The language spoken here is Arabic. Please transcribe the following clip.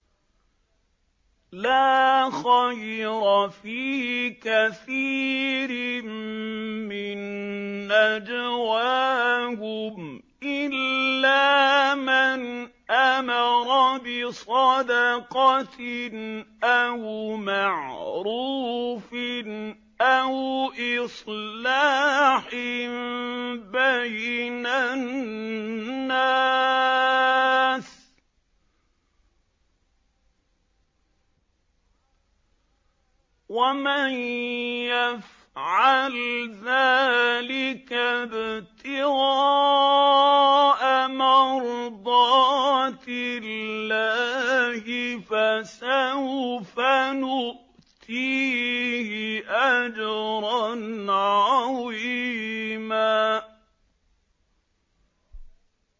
۞ لَّا خَيْرَ فِي كَثِيرٍ مِّن نَّجْوَاهُمْ إِلَّا مَنْ أَمَرَ بِصَدَقَةٍ أَوْ مَعْرُوفٍ أَوْ إِصْلَاحٍ بَيْنَ النَّاسِ ۚ وَمَن يَفْعَلْ ذَٰلِكَ ابْتِغَاءَ مَرْضَاتِ اللَّهِ فَسَوْفَ نُؤْتِيهِ أَجْرًا عَظِيمًا